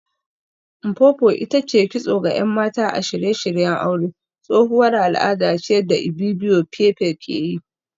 Mpopo ita ce kitso ga ‘yan mata a shirye-shiryen aure, tsohuwar al’ada ce da Ibibio pepple ke yi